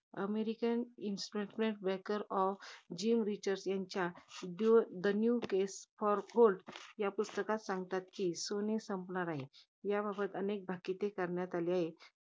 American investment banker of Jim Rickards यां~ त्यांच्या the new case for gold या पुस्तकात सांगतात कि, सोने संपणार आहे. याबाबत अनेक भाकिते करण्यात आली आहेत.